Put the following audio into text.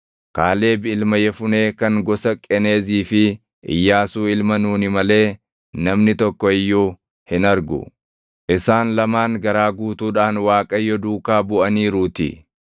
Kaaleb ilma Yefunee kan gosa Qeneezii fi Iyyaasuu ilma Nuuni malee namni tokko iyyuu hin argu; isaan lamaan garaa guutuudhaan Waaqayyo duukaa buʼaniiruutii.’